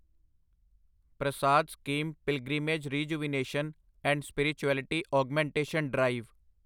Prasad scheme pilgrimage rejuvenation and spirituality augmentation drive